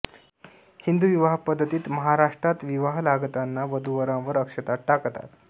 हिदू विवाह पद्धतीत महाराष्ट्रात विवाह लागताना वधूवरांवर अक्षता टाकतात